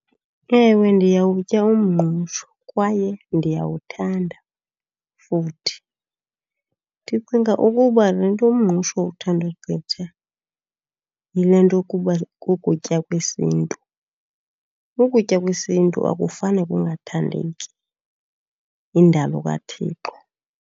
Ewe, ndiyawutya umngqusho kwaye ndiyawuthanda futhi. Ndicinga ukuba le nto umngqusho uthandwa gqitha yile nto yokuba kukutya kwesiNtu. ukutya kwesiNtu akufane kungathandeki, yindalo kaThixo.